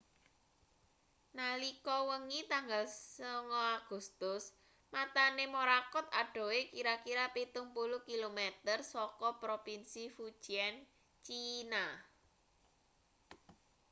nalika wengi tanggal 9 agustus matane morakot adohe kira-kira pitung puluh kilometer saka propinsi fujian china